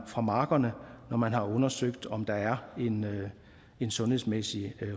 fra markerne når man har undersøgt om der er en sundhedsmæssig